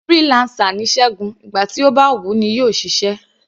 Freelancer ni Ṣẹgun, ìgbà tí ó bá wù u ní yóò ṣiṣẹ́.